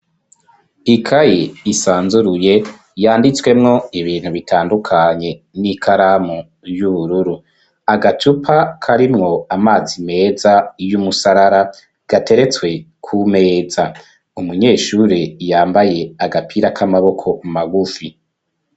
Ikaye isanzuruye yanditswemwo ibintu bitandukanye n'ikalamu y'ubururu agacupa karimwo amazi meza y'umusarara gateretswe kumeza umunyeshuri yambaye agapira k'amaboko mu magufi.